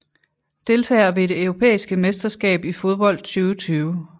Deltagere ved det europæiske mesterskab i fodbold 2020